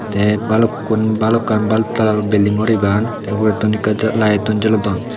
te balukkun balokan bluk colour ror building guri pan te uguredittun ekka ja light tun jolodon.